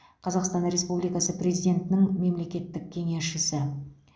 қазақстан республикасы президентінің мемлекеттік кеңесшісі